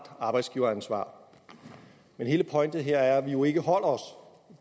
arbejdsgiveransvar men hele pointen her er at vi jo ikke holder os